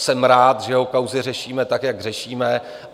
Jsem rád, že jeho kauzy řešíme, tak jak řešíme.